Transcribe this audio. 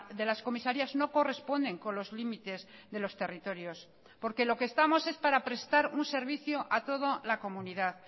de las comisarías no corresponden con los límites de los territorios porque lo que estamos es para prestar un servicio a toda la comunidad